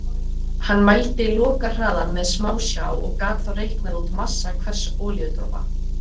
Hann mældi lokahraðann með smásjá og gat þá reiknað út massa hvers olíudropa.